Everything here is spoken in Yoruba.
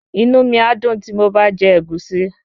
Inú mi á dùn tí mo bá jẹ Ẹ̀gúsí